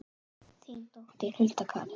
Þín dóttir, Hulda Karen.